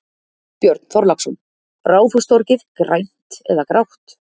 Björn Þorláksson: Ráðhústorgið, grænt eða grátt?